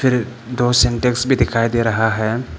दो सिंटेक्स भी दिखाई दे रहा है।